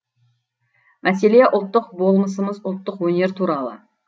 мәселе ұлттық болмысымыз ұлттық өнер туралы